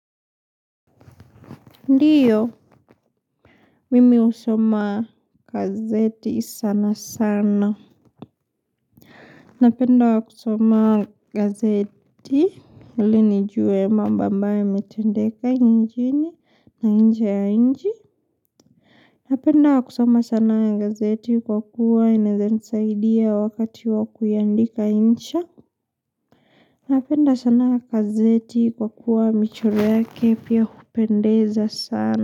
Ndiyo, mimi usoma gazeti sana sana. Napenda kusoma gazeti. Ili nijue mambo ambayo yametendeka njini na nje ya nji. Napenda kusoma sana ya gazeti kwa kuwa inezanisaidia wakati wa kuyiandika incha. Napenda sana gazeti kwa kuwa michoro yake pia kupendeza sana.